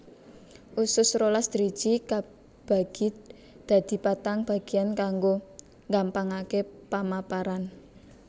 Usus rolas driji kabagi dadi patang bagéyan kanggo nggampangaké pamaparan